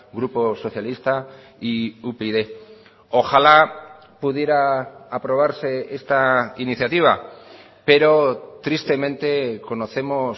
grupo socialista y upyd ojalá pudiera aprobarse esta iniciativa pero tristemente conocemos